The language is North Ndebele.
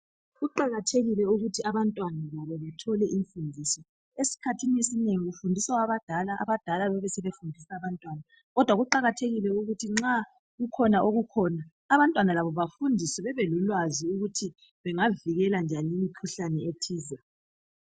kuqakathekile ukuthi abantwana labo bathole imfundiso esikhathini esinengiu kufundiswa abadala abadala besebefundisa abantwana kodwa kuqakathekile ukuthi nxa kukhona okukhpona abantwana labo bafundiswe babelolwazi lokuthi bengavikela njani imikhuhlane ethize